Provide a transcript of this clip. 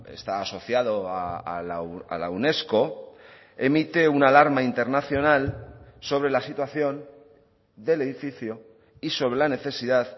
está asociado a la unesco emite una alarma internacional sobre la situación del edificio y sobre la necesidad